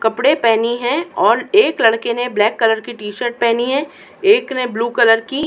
कपड़े पहनी है और एक लड़के ने ब्लैक कलर की टी शर्ट पहनी है। एक ने ब्लू कलर की --